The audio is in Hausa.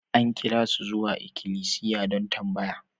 An kira su zuwa ikilisiya don tambaya.